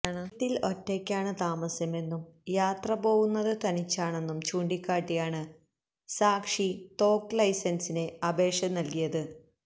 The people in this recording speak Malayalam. വീട്ടില് ഒറ്റയ്ക്കാണ് താമസമെന്നും യാത്ര പോവുന്നത് തനിച്ചാണെന്നും ചൂണ്ടിക്കാട്ടിയാണ് സാക്ഷി തോക്ക് ലൈസന്സിന് അപേക്ഷ നല്കിയത്